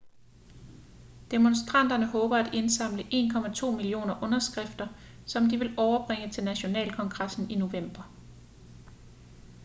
demonstranterne håber at indsamle 1,2 millioner underskrifter som de vil overbringe til nationalkongressen i november